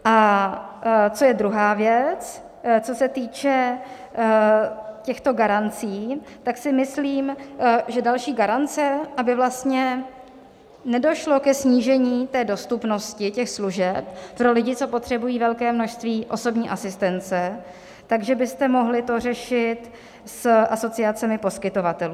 A co je druhá věc, co se týče těchto garancí, tak si myslím, že další garance, aby vlastně nedošlo ke snížení dostupnosti těch služeb pro lidi, co potřebují velké množství osobní asistence, tak že byste mohli to řešit s asociacemi poskytovatelů.